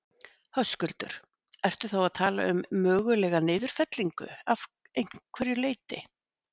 Höskuldur: Ertu þá að tala um mögulega niðurfellingu af einhverju leyti?